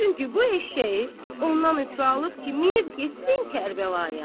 Çünki bu eşşəyi ondan ötrü alıb ki, minib getsin Kərbəlaya.